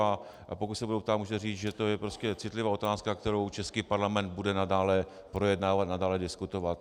A pokud se budou ptát, můžete říct, že to je prostě citlivá otázka, kterou český parlament bude nadále projednávat, nadále diskutovat.